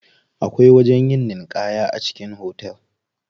Akwai wajen yin ninƙaya a cikin hotel.